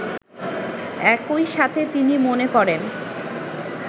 একইসাথে তিনি মনে করেন